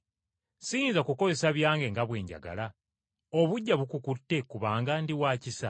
Siyinza kukozesa byange nga bwe njagala? Obuggya bukukutte kubanga ndi wa kisa?’